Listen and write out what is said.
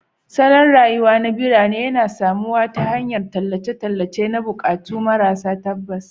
Salon rayuwa na birni yana samuwa ta hanyar tallan tallace-tallace na buƙatu maras tabbas